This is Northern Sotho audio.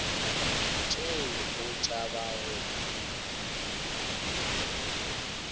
tšee o tšhaba go kunywa